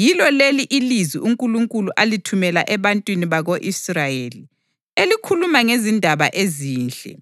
Yilo leli ilizwi uNkulunkulu alithumela ebantwini bako-Israyeli, elikhuluma ngezindaba ezinhle